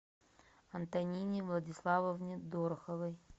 антонине владиславовне дороховой